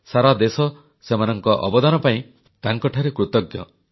ସାରା ଦେଶ ସେମାନଙ୍କ ଅବଦାନ ପାଇଁ ତାଙ୍କଠାରେ କୃତଜ୍ଞ